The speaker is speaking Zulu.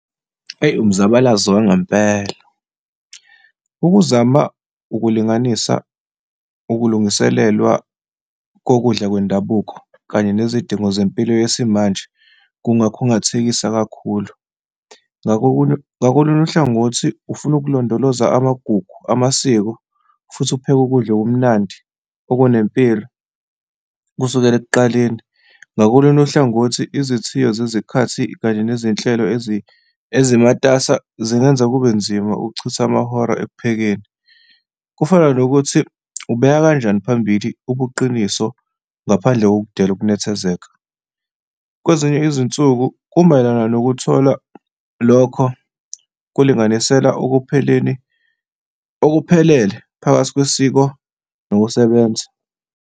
Eyi, umzabalazo wangempela. Ukuzama ukulinganisa ukulungiselelwa kokudla kwendabuko kanye nezidingo zempilo yesimanje kungakhungathekisi kakhulu. Ngakolunye uhlangothi, ufuna ukulondoloza amagugu amasiko futhi upheke ukudla okumnandi, okunempilo, kusukela ekuqaleni. Ngakolunye uhlangothi, izithiyo zezikhathi kanye nezinhlelo ezizimatasa zingenza kube nzima ukuchitha amahora ekuphekeni. Kufana nokuthi ubeka kanjani phambili ubuqiniso ngaphadle kokudela ukunethezeka. Kwezinye izinsuku kumayelana nokuthola lokho kulinganisela ekupheleni okuphelele phakathi kwesiko nokusebenza.